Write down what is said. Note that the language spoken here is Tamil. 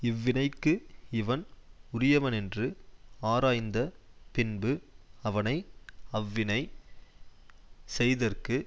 இவ்வினைக்கு இவன் உரியவனென்று ஆராய்ந்த பின்பு அவனை அவ்வினை செய்தற்கு